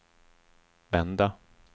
vända